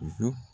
Zon